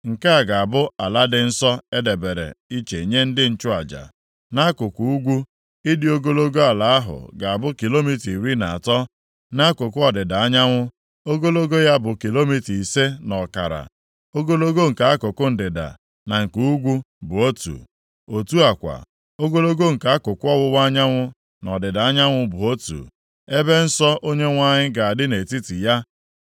Nke a ga-abụ ala dị nsọ e debere iche nye ndị nchụaja. Nʼakụkụ ugwu, ịdị ogologo ala ahụ ga-abụ kilomita iri na atọ. Nʼakụkụ ọdịda anyanwụ, ogologo ya bụ kilomita ise na ọkara. Ogologo nke akụkụ ndịda na nke ugwu bụ otu. Otu a kwa, ogologo nke akụkụ ọwụwa anyanwụ na ọdịda anyanwụ bụ otu. Ebe nsọ Onyenwe anyị ga-adị nʼetiti ya.